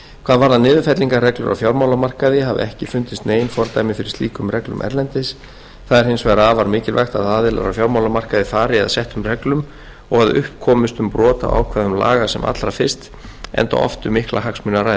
hvað varðar niðurfellingarreglur á fjármálamarkaði hafa ekki fundist nein fordæmi fyrir slíkum reglum erlendis það er hins vegar afar mikilvægt að aðilar á fjármálamarkaði fari að settum reglum og að upp komist um brot á ákvæðum laga sem allra fyrst enda oft um mikla hagsmuni að